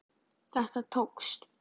Þetta tókst.